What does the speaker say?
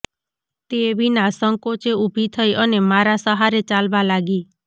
તે વિના સંકોચે ઉભી થઈ અને મારા સહારે ચાલવા લાગી